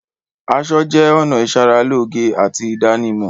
Aṣọ jẹ́ ọ̀nà ìṣaralóge àti ìdánimọ̀.